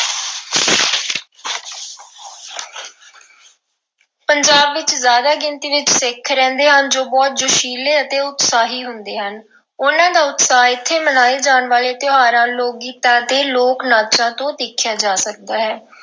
ਪੰਜਾਬ ਵਿੱਚ ਜ਼ਿਆਦਾ ਗਿਣਤੀ ਵਿੱਚ ਸਿੱਖ ਰਹਿੰਦੇ ਹਨ ਜੋ ਬਹੁਤ ਜੋਸ਼ੀਲੇ ਅਤੇ ਉਤਸ਼ਾਹੀ ਹੁੰਦੇ ਹਨ। ਉਨ੍ਹਾਂ ਦਾ ਉਤਸ਼ਾਹ ਇਥੇ ਮਨਾਏ ਜਾਣ ਵਾਲੇ ਤਿਉਹਾਰਾਂ, ਲੋਕ-ਗੀਤਾਂ ਅਤੇ ਲੋਕ-ਨਾਚਾਂ ਤੋਂ ਦੇਖਿਆ ਜਾ ਸਕਦਾ ਹੈ।